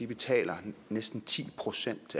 betaler næsten ti procent